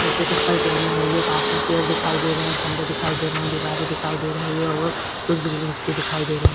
उसने चपल पहनी हुई है । पास में पेड़ दिखाई दे रहे हैं । खम्बे दिखाई दे रहे हैं। दीवारे दिखाई दे रही हैं और कुछ बिल्डिंग भी दिखाई दे रहे --